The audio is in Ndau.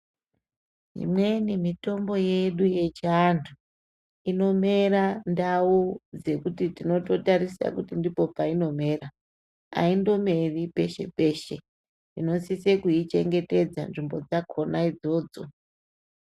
Imweni mitombo yedu yechiantu inomera ndau dzekuti tinoto tarise kuti ndipo painomera haindomeri peshe peshe tinosise kuichengetedza nzvimbo dzakona idzodzo